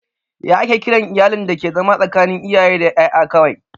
Ya ake kiran iyalin dake zama tsakanin iyaye da ƴaƴa kawai?